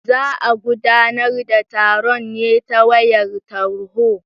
Za a gudanar da taron ne ta wayar tarho.